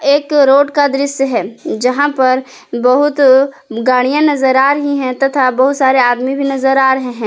एक रोड का दृश्य है जहां पर बहुत गाड़ियां नजर आ रही है तथा बहुत सारे आदमी भी नजर आ रहे है।